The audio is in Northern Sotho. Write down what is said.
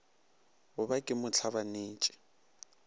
go ba ke mo hlabanetše